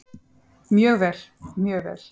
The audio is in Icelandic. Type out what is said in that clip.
Mjög vel, mjög vel.